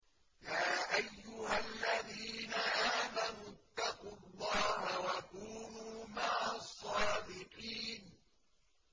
يَا أَيُّهَا الَّذِينَ آمَنُوا اتَّقُوا اللَّهَ وَكُونُوا مَعَ الصَّادِقِينَ